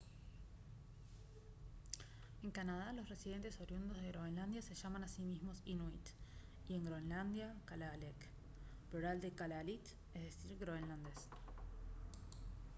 en canadá los residentes oriundos de groenlandia se llaman a sí mismos inuit y en groenlandia kalaalleq plural de kalaallit; es decir groenlandés